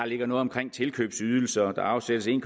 ligger noget omkring tilkøbsydelser og der afsættes en